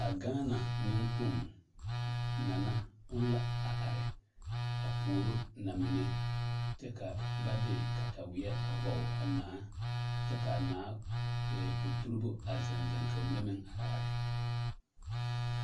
A gaana neŋkpoŋ nana o na la a are a puoro namine kyɛ ka ba de kataweɛ a pɔge a naa kyɛ ka a naa ɛɛ poturibo zeŋ zeŋ ka ba mine meŋ are are.